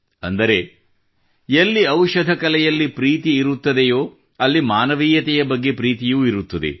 ಅಂದರೆ ಎಲ್ಲಿ ಔಷಧ ಕಲೆಯಲ್ಲಿ ಪ್ರೀತಿ ಇರುತ್ತದೆಯೇ ಅಲ್ಲಿ ಮಾನವೀಯತೆಯ ಬಗ್ಗೆ ಪ್ರೀತಿಯೂ ಇರುತ್ತದೆ